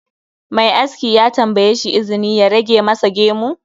Mai aski ya tambayeshi izini ya rage masa gemu